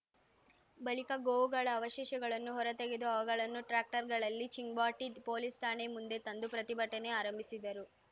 ಬಳಿಕ ಗೋವುಗಳ ಅವಶೇಷಗಳನ್ನು ಹೊರತೆಗೆದು ಅವುಗಳನ್ನು ಟ್ರಾಕ್ಟರ್‌ಗಳಲ್ಲಿ ಚಿಂಗ್ವಾಟಿ ಪೊಲೀಸ್‌ ಠಾಣೆ ಮುಂದೆ ತಂದು ಪ್ರತಿಭಟನೆ ಆರಂಭಿಸಿದರು